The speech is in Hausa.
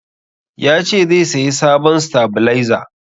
Ya ce zai sayi sabon stabalaiza.